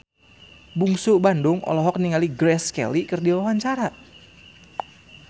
Bungsu Bandung olohok ningali Grace Kelly keur diwawancara